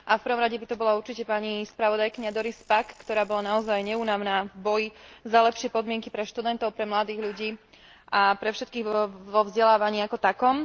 V prvom rade by to bolo určite pani spravodajkyňa Doris Pack, ktorá bola naozaj neúnavná v boji za lepšie podmienky pre študentov, pre mladých ľudí a pre všetkých vo vzdelávaní ako takom.